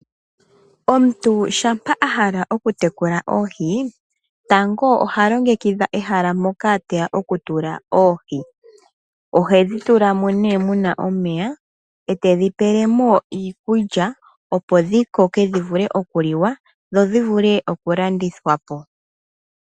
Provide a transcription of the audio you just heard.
Omuntu shampa hala oku tekula oohi tango oha longekidha ehala moka teya oku tula oohi. Ohedhi tulamo nee muna omeya e tedhi pelemo iikulya opo dhi koke dhivule okuliwa dho dhivule oku landithwapo .